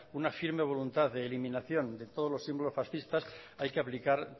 una firme voluntad de eliminación de todos los símbolos fascistas hay que aplicar